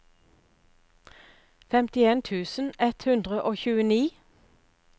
femtien tusen ett hundre og tjueni